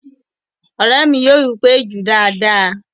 Ọ̀rẹ́ mi yóò wí pé "jú dáadáa!"